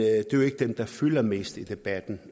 er jo ikke dem der fylder mest i debatten